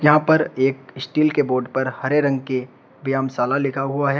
यहां पर एक स्टील के बोड पर हरे रंग के व्यायाम शाला लिखा हुआ है।